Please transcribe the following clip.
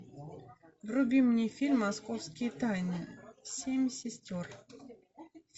вруби мне фильм московские тайны семь сестер